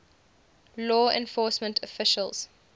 law enforcement officials